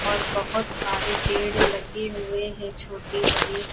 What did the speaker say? और बहोत सारे पेड़ लगे हुए हैं छोटे बड़े।